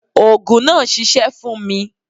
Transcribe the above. Òògùn náà ṣiṣẹ́ fún mi.